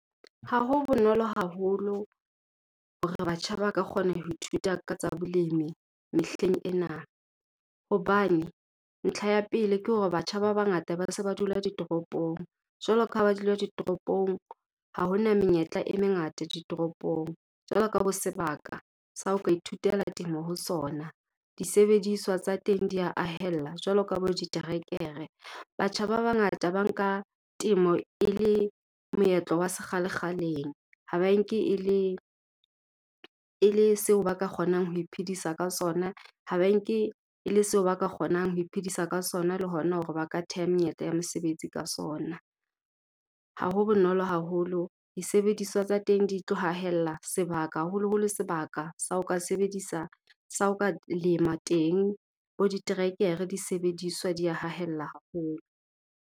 Ha ho bonolo haholo hore batjha ba ka kgona ho ithuta ka tsa bolemi mehleng ena. Hobane ntlha ya pele, ke hore batjha ba bangata ba se ba dula ditoropong. Jwalo ka ha ba dula ditoropong ha ho na menyetla e mengata di toropong. Jwalo ka bo sebaka sa o ka ithutela temo ho sona, disebediswa tsa teng di ya haella jwalo ka bo diterekere. Batjha ba bangata ba nka temo e le moetlo wa se kgale-kgaleng ha ba enke e le seo ba ka kgonang ho iphedisa ka sona, ha ba e nke e le seo ba ka kgonang ho iphedisa ka sona le hona hore ba ka theha menyetla ya mosebetsi ka sona. Ha ho bonolo haholo, disebediswa tsa teng di tlo hahella sebaka. Haholoholo sebaka sa o ka sebedisa, sa o ka lema teng, bo diterekere, disebediswa di ya hahella haholo.